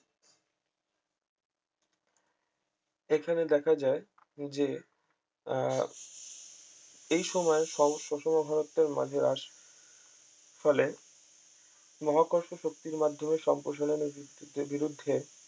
এখানে দেখা যায় যে আহ এই সময় ফলে মহাকর্ষ শক্তির মাধ্যমে সম্প্রসারনের যে বিরুদ্ধে